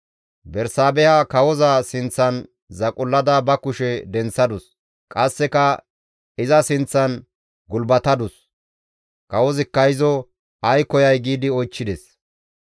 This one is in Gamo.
Bersaabeha kawoza sinththan zaqullada ba kushe denththadus; qasseka iza sinththan gulbatadus. Kawozikka izo, «Ay koyay?» giidi oychchides.